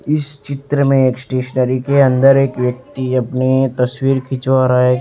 इस चित्र में एक स्टेशनरी के अंदर एक व्यक्ति अपनी तस्वीर खिंचवा रहा है।